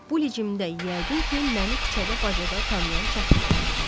Bu biçimdə, yəqin ki, məni küçədə-bacada tanıyan çətin olar.